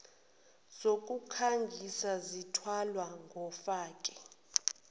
zokukhangisa zithwalwa ngofake